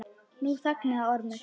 Nú þagnaði Ormur.